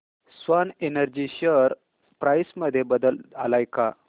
Swan Energy share price मध्ये बदल आलाय का